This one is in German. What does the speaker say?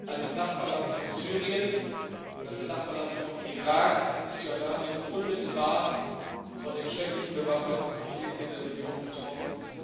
Als Nachbarland von Syrien und als Nachbarland von Irak ist Jordanien unmittelbar von den schrecklichen bewaffneten Konflikten in der Region betroffen.